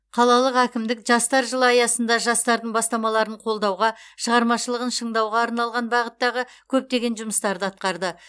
қалалық әкімдік жастар жылы аясында жастардың бастамаларын қолдауға шығармашылығын шыңдауға арналған бағыттағы көптеген жұмыстарды атқарды